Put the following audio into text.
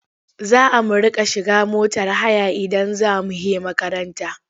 Za a mu riƙa shiga motar haya idan za mu he makaranta.